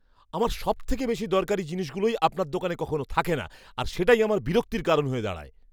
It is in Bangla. আমার সবথেকে বেশি দরকারি জিনিসগুলোই আপনার দোকানে কখনও থাকে না আর সেটাই আমার বিরক্তির কারণ হয়ে দাঁড়ায়।